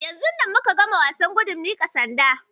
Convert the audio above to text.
Yanzun nan muka gama wayan gudun miƙa sanda.